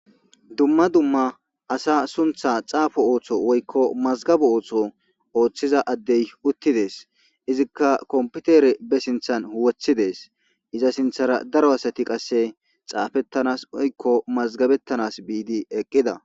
Duma duma asana sunitha xapo oso woyiko masgabo oso othida adey utizes izika kopitere basinithan wothides iza sithara daro asati qase xapetanas woyiko masigabetanas gidi eqida